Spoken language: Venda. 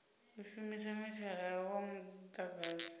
u shumisa mithara wa mudagasi